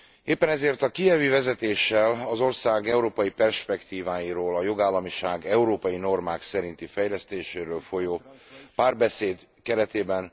Éppen ezért a kijevi vezetéssel, az ország európai perspektíváiról, a jogállamiság európai normák szerinti fejlesztéséről folyó párbeszéd keretében...